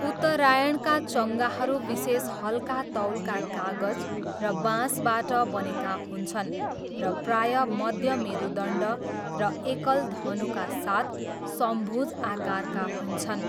उत्तरायणका चङ्गाहरू विशेष हल्का तौलका कागज र बाँसबाट बनेका हुन्छन् र प्रायः मध्य मेरुदण्ड र एकल धनुका साथ समभुज आकारका हुन्छन्।